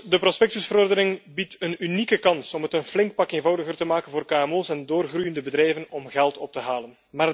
De prospectusverordening biedt een unieke kans om het een flink stuk eenvoudiger te maken voor kmo's en doorgroeiende bedrijven om geld op te halen.